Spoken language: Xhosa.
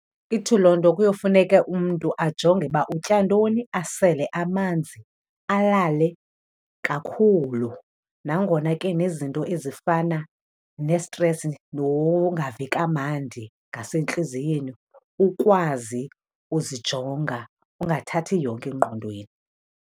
Ithi loo nto, kuyofuneke umntu ajonge uba utya ntoni, asele amanzi, alale kakhulu. Nangona ke nezinto ezifana nestresi nongavi kamandi ngasentliziyweni, ukwazi uzijonga ungathathi yonke engqondweni.